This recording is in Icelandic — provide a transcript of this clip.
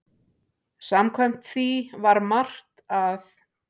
Samkvæmt því var margt að.